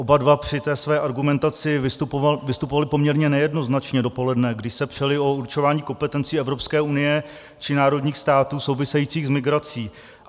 Oba dva při té své argumentaci vystupovali poměrně nejednoznačně dopoledne, kdy se přeli o určování kompetencí Evropské unie či národních států souvisejících s migrací.